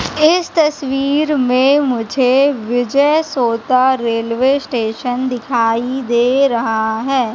इस तस्वीर में मुझे विजय सोता रेलवे स्टेशन दिखाई दे रहा है।